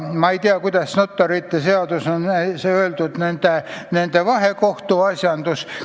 Ma ei tea, kuidas notarite seaduses on sätestatud nende vahekohtusse puutuv.